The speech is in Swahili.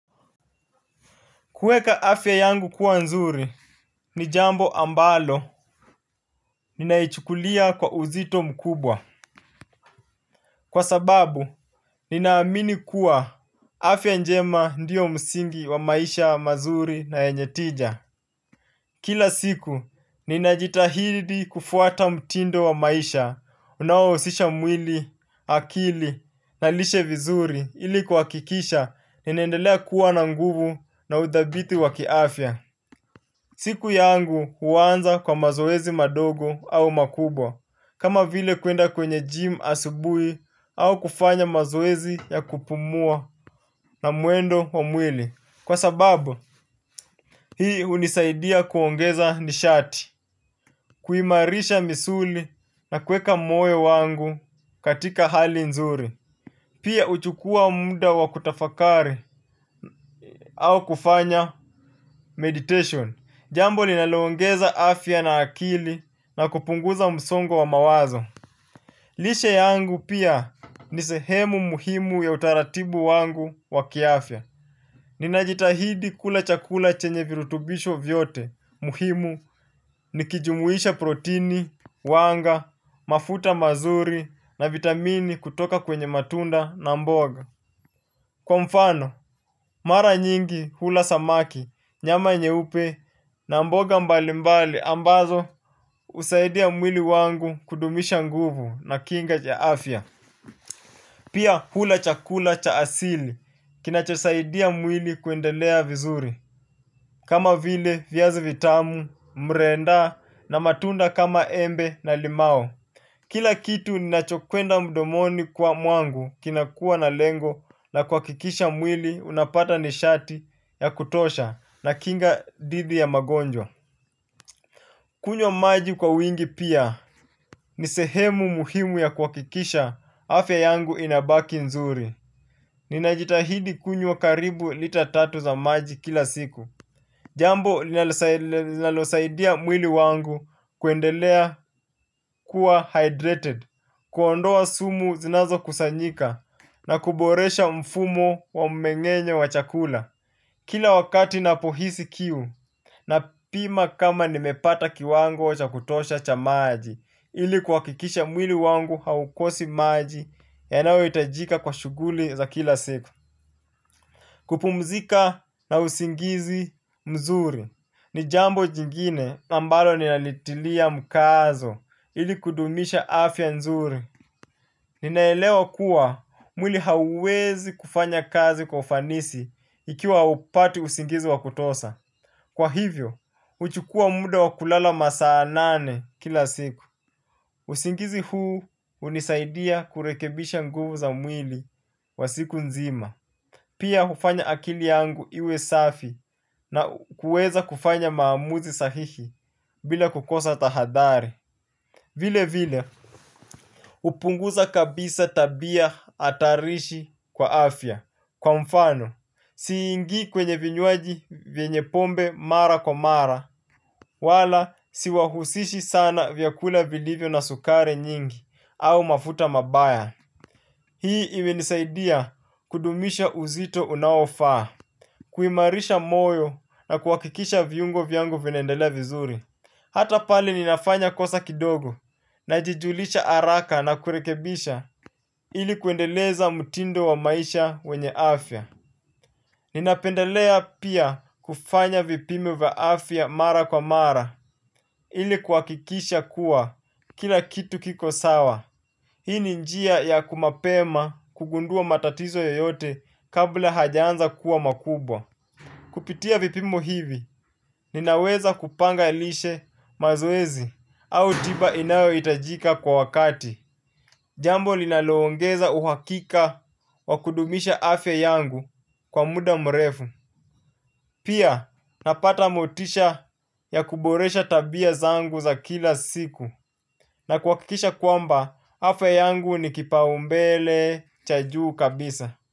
Kuweka afya yangu kuwa nzuri, ni jambo ambalo, ninaichukulia kwa uzito mkubwa. Kwa sababu, ninaamini kuwa afya njema ndiyo msingi wa maisha mazuri na yenye tija. Kila siku, ninajitahidi kufuata mtindo wa maisha, unaohusisha mwili, akili, na lishe vizuri, ili kuwakikisha, ninaendelea kuwa na nguvu na udhabiti wakiafya. Siku yangu huwanza kwa mazoezi madogo au makubwa, kama vile kuenda kwenye jim asubui au kufanya mazoezi ya kupumua na mwendo wa mwili. Kwa sababu, hii unisaidia kuongeza nishati, kuimarisha misuli na kuweka moyo wangu katika hali nzuri. Pia uchukua munda wa kutafakari au kufanya meditation. Jambo linaloongeza afya na akili na kupunguza msongo wa mawazo. Lishe yangu pia ni sehemu muhimu ya utaratibu wangu wa kiafya. Ninajitahidi kula chakula chenye virutubisho vyote muhimu. Nikijumuisha protini, wanga, mafuta mazuri na vitamini kutoka kwenye matunda na mboga. Kwa mfano, mara nyingi hula samaki, nyama nyeupe, na mboga mbali mbali ambazo husaidia mwili wangu kudumisha nguvu na kinga cha afya. Pia hula chakula cha asili, kinachosaidia mwili kuendelea vizuri. Kama vile, viazi vitamu, mrenda, na matunda kama embe na limao. Kila kitu nachokwenda mdomoni kwa mwangu kinakua na lengo la kuwakikisha mwili unapata nishati ya kutosha na kinga didhi ya magonjwa. Kunywa maji kwa wingi pia ni sehemu muhimu ya kuwakikisha afya yangu inabaki nzuri. Ninajitahidi kunywa karibu lita tatu za maji kila siku. Jambo linalosaidia mwili wangu kuendelea kuwa hydrated, kuondoa sumu zinazo kusanyika na kuboresha mfumo wa mmengenyo wa chakula. Kila wakati napohisi kiu napima kama nimepata kiwango cha kutosha cha maji ili kuwakikisha mwili wangu haukosi maji yanayo itajika kwa shuguli za kila siku. Kupumzika na usingizi mzuri ni jambo jingine ambalo ninalitilia mukazo ili kudumisha afya nzuri. Ninaelewa kuwa mwili hauwezi kufanya kazi kwa ufanisi ikiwa haupati usingizi wa kutosha. Kwa hivyo, huchukua muda wa kulala masaa nane kila siku. Usingizi huu unisaidia kurekebisha nguvu za mwili wa siku nzima. Pia hufanya akili yangu iwe safi na kuweza kufanya maamuzi sahihi bila kukosa tahadari. Vile vile, hupunguza kabisa tabia hatarishi kwa afya. Kwa mfano, si ingi kwenye vinywaji vienye pombe mara kwa mara, wala si wahusishi sana vyakula vilivyo na sukari nyingi au mafuta mabaya. Hii imenisaidia kudumisha uzito unaofaa, kuimarisha moyo na kuwakikisha viungo vyango vinaendelea vizuri. Hata pali ninafanya kosa kidogo najijulisha araka na kurekebisha ili kuendeleza mutindo wa maisha wenye afya. Ninapendelea pia kufanya vipimo vya afya mara kwa mara ili kuwakikisha kuwa kila kitu kiko sawa. Hii ni njia ya kumapema kugundua matatizo yoyote kabla hajaanza kuwa makubwa. Kupitia vipimo hivi ninaweza kupanga lishe mazoezi au tiba inayoitajika kwa wakati. Jambo linaloongeza uhakika wa kudumisha afya yangu kwa muda mrefu. Pia napata motisha ya kuboresha tabia zangu za kila siku. Na kuwakikisha kwamba, afya yangu ni kipa umbele cha juu kabisa.